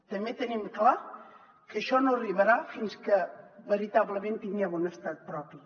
també tenim clar que això no arribarà fins que veritablement tinguem un estat propi